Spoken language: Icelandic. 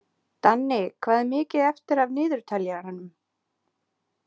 Danni, hvað er mikið eftir af niðurteljaranum?